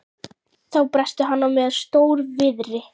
Þá brestur hann á með stór- viðri.